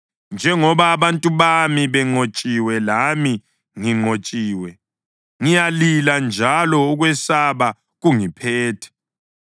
Njengoba abantu bami benqotshiwe lami nginqotshiwe, ngiyalila njalo ukwesaba kungiphethe.